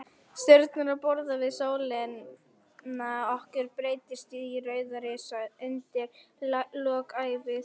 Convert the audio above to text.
Stjörnur á borð við sólina okkar breytast í rauða risa undir lok ævi þeirra.